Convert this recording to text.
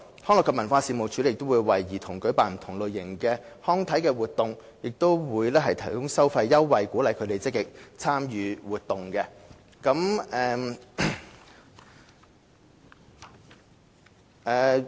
康樂及文化事務署亦會為兒童舉辦不同類型的康體活動，並會提供收費優惠，以鼓勵他們積極參與活動。